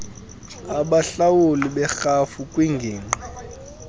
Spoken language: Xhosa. abahlawuli berhafu kwingingqi